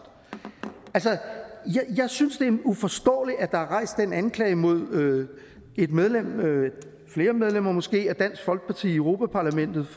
jeg synes det er uforståeligt at der er rejst en anklage mod et medlem flere medlemmer måske af dansk folkeparti i europa parlamentet